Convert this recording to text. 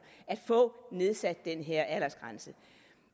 at få nedsat den her aldersgrænse